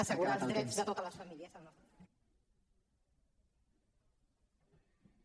assegurar els drets de totes les famílies al nostre país